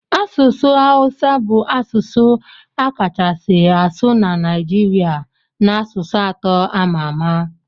Asụsụ Hausa bu asụsụ akachasi asu na naijiria na asụsụ atọ amama.